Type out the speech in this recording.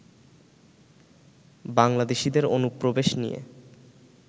বাংলাদেশীদের অনুপ্রবেশ নিয়ে